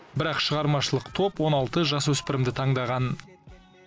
бірақ шығармашылық топ он алты жасөспірімді таңдаған